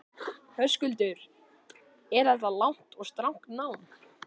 Höskuldur: Er þetta langt og strangt nám?